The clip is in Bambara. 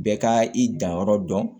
Bɛɛ ka i danyɔrɔ dɔn